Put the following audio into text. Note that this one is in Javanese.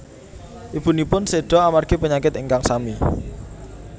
Ibunipun seda amargi penyakit ingkang sami